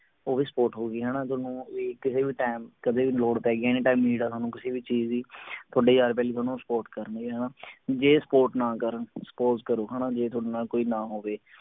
ਓਹੀ support ਹੋਊਗੀ ਹਣਾ ਥੋਨੂੰ ਕਿਸੇ ਵੀ ਟੈਮ ਕਦੇ ਵੀ ਲੋੜ ਪੈ ਗਈ anytime need ਆ ਤੁਹਾਨੂੰ ਕਿਸੇ ਵੀ ਚੀਜ ਦੀ ਥੋਡੇ ਯਾਰ ਬੇਲੀ ਤੁਹਾਨੂੰ support ਕਰਣਗੇ ਹਣਾ ਜੇ support ਨਾ ਕਰਣ suppose ਕਰੋ ਹਣਾ ਜੇ ਤੁਹਾਡੇ ਨਾਲ ਕੋਈ ਨਾ ਹੋਵੇ